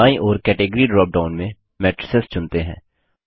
दायीं ओर category dropdown में मैट्रिसेस चुनते हैं